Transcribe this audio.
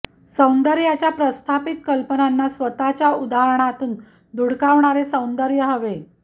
सौंदर्याच्या प्रस्थापित कल्पनांना स्वतःच्या उदाहरणातून धुडकावणारे सौंदर्य हवे